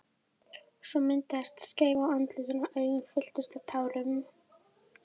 Svo myndaðist skeifa á andlitinu og augun fylltust tárum.